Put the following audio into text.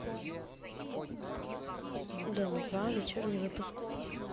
дом два вечерний выпуск